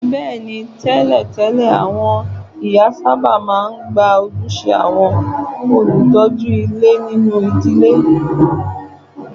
Bẹ́ẹ̀ ni, tẹ́lẹ̀tẹ́lẹ̀, àwọn ìyá sábà máa ń gba ojúṣe àwọn olùtọ́jú ilé nínú ìdílé